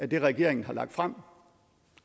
det regeringen har lagt frem